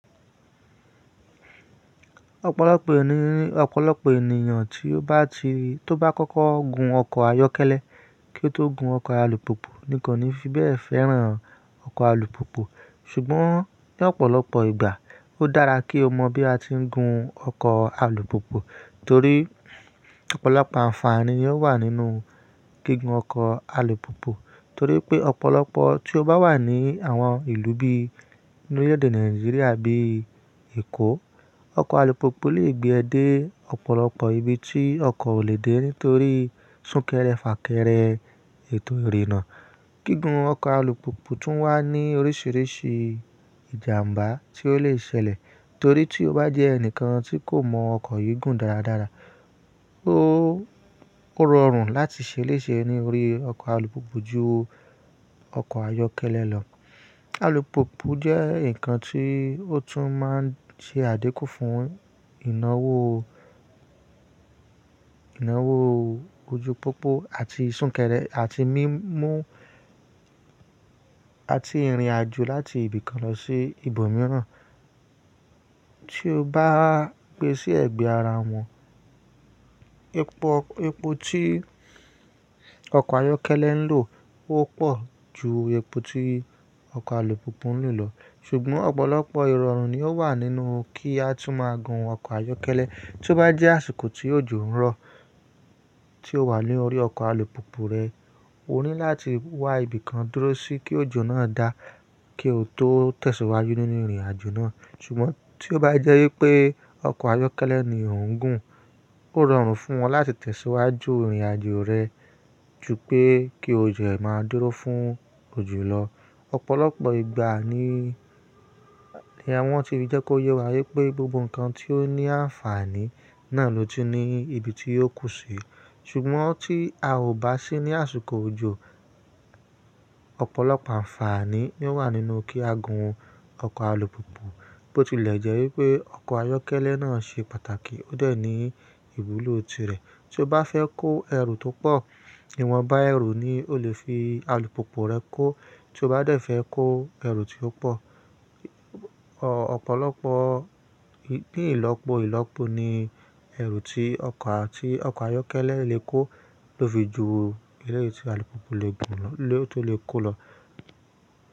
Ọ̀pọ̀lọpọ̀ èèyàn ni, ọ̀pọ̀lọpọ̀ ènìyàn tí ó bá ti, tó bá kọ́kọ́ gun ọkọ̀ ayọ́kẹ́lẹ́ kí ó tó gun ọkọ̀ alùpùpù ní kò ní fi bẹ́ẹ̀ fẹ́ràn ọkọ̀ alùpùpù. Ṣùgbọ́n ní ọ̀pọ̀lọpọ̀ ìgbà ó dára kí o mọ̀ bí a tí ń gun ọkọ̀ alùpùpù torí ọ̀pọ̀lọpọ̀ àǹfààní ni ó wà nínú gígùn ọkọ̀ alùpùpù. Torí pé ọ̀pọ̀lọpọ̀ tí ó bá wà ní àwọn ìlú bí i ní orílẹ̀èdè Nàìjíríà bíi Èkó, ọkọ̀ alùpùpù lè gbé ẹ dé ọ̀pọ̀lọpọ̀ ibi tí ọkọ̀ ò lè dé nítorí súnkẹrẹ fàkẹrẹ ètò ìrènà. Gígùn ọkọ̀ alùpùpù tún wá ní oríṣiríṣi ìjàmbá tí ó lè ṣẹlẹ̀ torí tí o bá jẹ́ ẹnìkan tí kò mọ ọkọ̀ yìí gùn dáradára, ó, ó rọrùn láti ṣe léṣe ní orí ọkọ̀ alùpùpù ju ọkọ̀ ayọ́kẹ́lẹ́ lọ. Alùpùpù jẹ́ ǹkan tí ó tún máa ń ṣe àdékù fún ìnáwó, ìnáwó ojú pópó àti súnkẹrẹ àti mímú, àti ìrìnàjò láti ibìkan lọ sí ibòmíràn. Tí o bá ń gbe sí ẹ̀gbẹ́ ara wọn, epo, epo tí ọkọ̀ ayọ́kẹ́lẹ́ ń lò ó pọ̀ ju epo tí ọkọ̀ alùpùpù ń lò lọ. Ṣùgbọ́n ọ̀pọ̀lọpọ̀ irọrun ni ó wà nínú kí á tún máa gun ọkọ̀ ayọ́kẹ́lẹ́. Tí ó bá jẹ́ àsìkò tí òjò ń rọ̀ tí o wà lórí ọkọ̀ alùpùpù rẹ, o ní láti wá ibìkan dúró sí kí òjò náà dà kí o tó tẹ̀síwájú nínú ìrìnàjò náà. Ṣùgbọ́n tí ó bá jẹ́ wípé ọkọ̀ ayọ́kẹ́lẹ́ ni ò ń gùn, ó rọrùn fún ọ láti tẹ̀síwájú ìrìnàjò rẹ ju pé kí ojẹ̀ ẹ máa dúró fún ojù lọ. Ọ̀pọ̀lọpọ̀ ìgbà ni, ni àwọn ti fi jẹ́ kó yẹ wá wípé gbogbo ǹkan tí ó ní àǹfààní náà ló tún ní ibi tí ó kù sí. Ṣùgbọ́n tí a ò bá sí ní àsìkò òjò, ọ̀pọ̀lọpọ̀ àǹfààní ni ó wà nínú kí a gun ọkọ̀ alùpùpù. Bo tilẹ̀ jẹ́ wípé ọkọ̀ ayọ́kẹ́lẹ́ náà ṣe pàtàkì ó dẹ̀ ní ìwúlò ti rẹ̀. Tí o bá fẹ́ kó ẹrù tó pọ̀, ìwọ̀n bá ẹrù ni o lè fi alùpùpù rẹ kó. Tí o bá dẹ̀ fẹ́ kó ẹrù tí ó pọ̀, ọ̀pọ̀lọpọ̀, ní ìlọ́po ìlọ́po ni ẹrù tí ọkọ̀, tí ọkọ̀ ayọ́kẹ́lẹ́ le kó ló fi ju eléyìí tí alùpùpù lè gùn lọ, lè tó lè kó lọ.